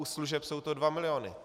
U služeb jsou to dva miliony.